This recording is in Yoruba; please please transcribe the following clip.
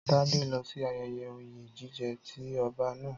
Tádé lọ sí ayẹyẹ oyè jíjẹ ti ọba naa.